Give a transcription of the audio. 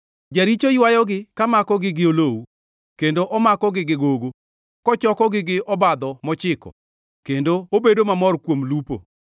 Jaricho ywayogi ka makogi gi olowu, kendo omakogi gi gogo, kochokogi gi obadho mochiko, kendo obedo mamor kuom lupo.